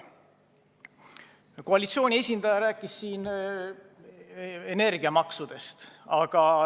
Koalitsiooni esindaja rääkis siin energiamaksudest.